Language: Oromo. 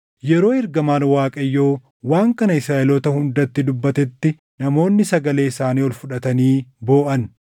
Yeroo ergamaan Waaqayyoo waan kana Israaʼeloota hundatti dubbatetti namoonni sagalee isaanii ol fudhatanii booʼan;